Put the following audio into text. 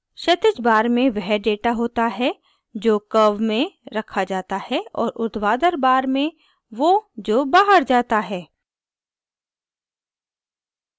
क्षैतिज bar में वह data होता है जो curve में रखा data है और उर्ध्वाधर bar में वो जो bar data है